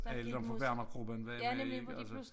Alle dem fra Wernergruppen var med i atlså